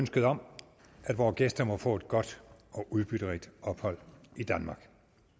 ønsket om at vores gæster må få et godt og udbytterigt ophold i danmark